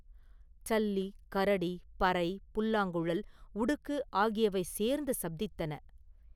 சல்லி, கரடி, பறை, புல்லாங்குழல், உடுக்கு ஆகியவை சேர்ந்து சப்தித்தன.